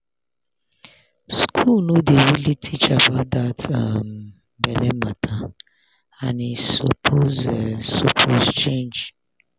school no dey really teach about that um belle matter and e suppose e suppose change.